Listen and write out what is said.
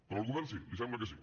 però el govern sí li sembla que sí